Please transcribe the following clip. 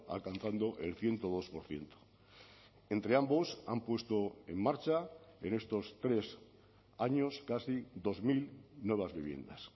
alcanzando el ciento dos por ciento entre ambos han puesto en marcha en estos tres años casi dos mil nuevas viviendas